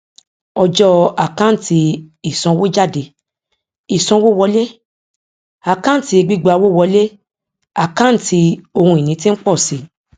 ọjọ àkántì isanwójádé ìsanwówọlé àkáǹtí gbígbà owó wọlé àkáǹtí ohùn ìní tí ń pọ sí